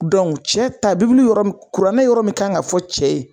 Dɔnku cɛ ta bibilu kuranɛ yɔrɔ min kan ka fɔ cɛ ye